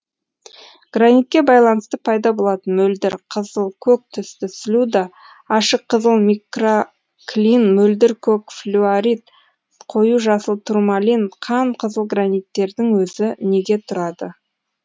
гранитке байланысты пайда болатын мөлдір қызыл көк түсті слюда ашық кызыл микроклин мөлдір көк флюорит қою жасыл турмалин қан қызыл граниттердің өзі неге тұрады